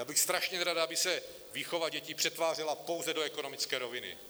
Já bych strašně nerad, aby se výchova dětí přetvářela pouze do ekonomické roviny.